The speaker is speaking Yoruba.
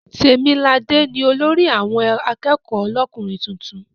Tèmiladé ni olórí àwọn akẹ́kọ̀ọ́ lọ́kùnrin tuntun.